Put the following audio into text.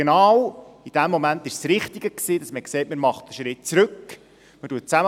Genau in dem Moment war es das Richtige, dass man sagte: Man macht einen Schritt zurück, man sitzt zusammen.